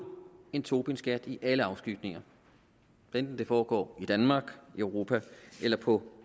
en tobinskat i alle afskygninger hvad enten det foregår i danmark i europa eller på